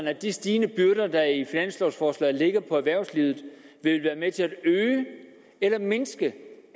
at de stigende byrder der i finanslovforslaget lægges på erhvervslivet vil være med til at øge eller mindske